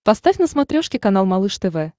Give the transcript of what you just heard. поставь на смотрешке канал малыш тв